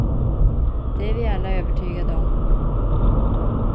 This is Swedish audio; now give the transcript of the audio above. Det är vi alla övertygade om.